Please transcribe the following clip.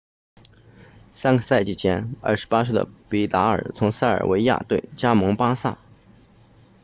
三个赛季前28岁的比达尔 vidal 从塞维利亚队加盟巴萨